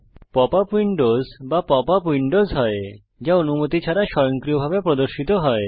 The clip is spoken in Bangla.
পপ আপ উইন্ডোজ বা পপ আপ উইন্ডোজ হয় যা অনুমতি ছাড়া স্বয়ংক্রিয়ভাবে প্রদর্শিত হয়